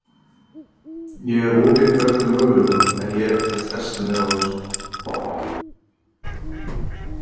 Ég er opinn fyrir öllum möguleikum en ég er ekkert að stressa mig á þessu.